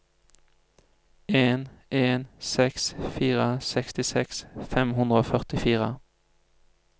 en en seks fire sekstiseks fem hundre og førtifire